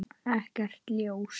Ekkert ljós.